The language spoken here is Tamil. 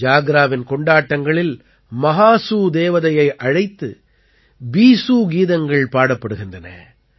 ஜாக்ராவின் கொண்டாட்டங்களில் மஹாசூ தேவதையை அழைத்து பீஸூ கீதங்கள் பாடப்படுகின்றன